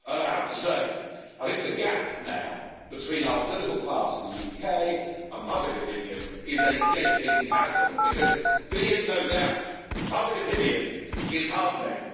I have to say I think the gap now between our political class in the UK and public opinion is a gaping chasm because be in no doubt, public opinion is hardening.